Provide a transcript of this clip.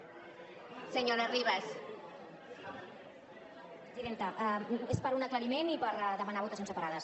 presidenta és per un aclariment i per demanar votacions separades